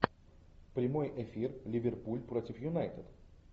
прямой эфир ливерпуль против юнайтед